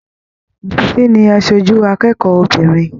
Bisi ní aṣoju akẹ́kọ̀ọ́ obìnrin.